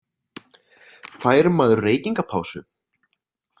Fær maður reykingapásu?